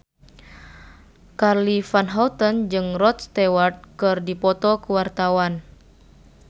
Charly Van Houten jeung Rod Stewart keur dipoto ku wartawan